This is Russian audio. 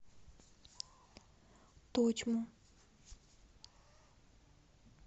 тотьму